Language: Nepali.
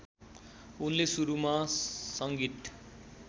उनले सुरुमा सङ्गीत